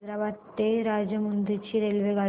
हैदराबाद ते राजमुंद्री ची रेल्वेगाडी